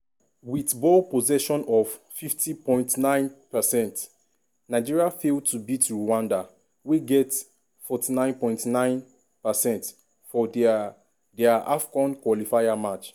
wit ball possession of 50.9 percent nigeria fail to beat rwanda wey get 49.9 percent for dia dia afcon qualifier match.